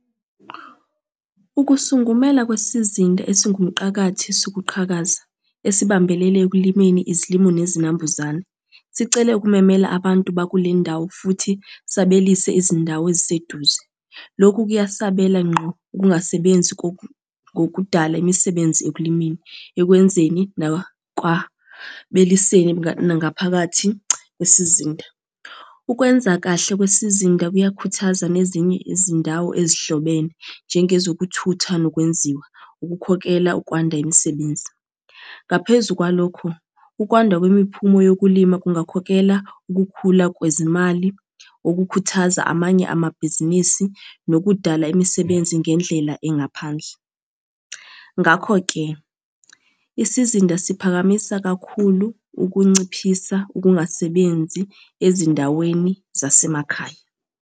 Ukusungumela kwesizinda esingumqakathi sokuqhakaza, esibambelele ekulimeni izilimu nezinambuzane, sicele ukumemela abantu bakule ndawo, futhi sabelise izindawo eziseduze. Lokhu kuyasabela ngqo ukungasebenzi ngokudala imisebenzi ekulimeni, ekwenzeni, nakwabeliseni ngaphakathi kwesizinda. Ukwenza kahle kwesizinda kuyakhuthaza nezinye izindawo ezihlobene, njengezokuthutha nokwenziwa, ukukhokela ukwanda imisebenzi. Ngaphezu kwalokho, ukwanda kwemiphumo yokulima kungakhokela ukukhula kwezimali, okukhuthaza amanye amabhizinisi, nokudala imisebenzi ngendlela engaphandle. Ngakho-ke, isizinda siphakamisa kakhulu ukunciphisa ukungasebenzi ezindaweni zasemakhaya.